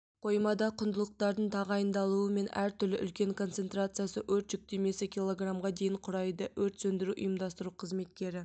қоймада құндылықтардың тағайындалуы мен әртүрлі үлкен концентрациясы өрт жүктемесі килограммға дейін құрайды өрт сөндіру ұйымдастыру қызметкері